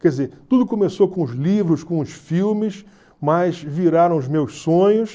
Quer dizer, tudo começou com os livros, com os filmes, mas viraram os meus sonhos.